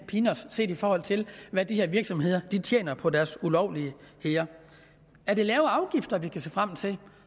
peanuts set i forhold til hvad de her virksomheder tjener på deres ulovligheder er det lavere afgifter vi kan se frem til